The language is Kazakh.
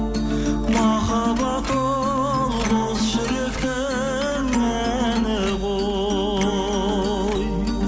махаббат ол қос жүректің әні ғой